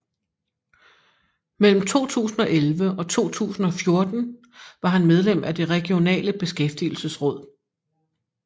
Mellem 2011 og 2014 var han medlem af Det Regionale Beskæftigelsesråd